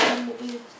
Yaxşı, bu da nədir?